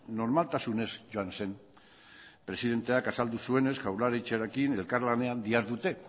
normaltasunez joan zen presidenteak azaldu zuenez jaurlaritzarekin elkarlanean dihardute